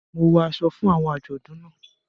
Mo wọ aṣọ fún awọn ajọdun náà.